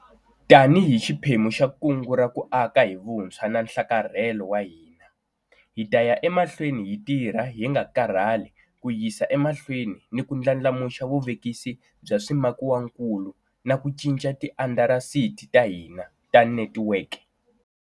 Tanihi xiphemu xa Kungu ra ku Aka hi Vuntshwa na Nhlakarhelo wa hina, hi ta ya emahlweni hi tirha hi nga karhali ku yisa emahlweni ku ndlandlamuxa vuvekisi bya swimakiwakulu na ku cinca tiindasitiri ta hina ta netikweke.